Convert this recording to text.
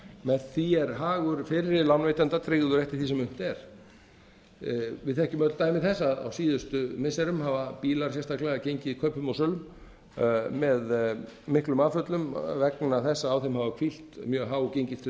með því er hagur fyrri lánveitanda tryggður eftir því sem unnt er við þekkjum öll dæmi þess að á síðustu missirum hafa bílar sérstaklega gengið kaupum og sölum með miklum afföllum vegna þess að á þeim hafa hvílt mjög há gengistryggð